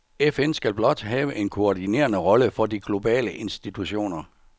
FN skal blot have en koordinerende rolle for de globale institutioner.